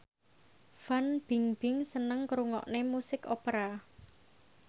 Fan Bingbing seneng ngrungokne musik opera